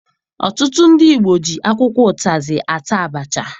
Ọtụtụ ndị Igbo ji akwụkwọ ụtazị ata abacha.